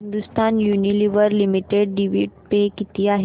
Hindustan Unilever limited dividend pay किती आहे